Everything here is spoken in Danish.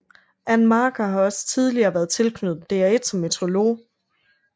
Ann Marker har også tidligere været tilknyttet DR1 som meteorolog